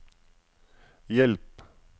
hjelp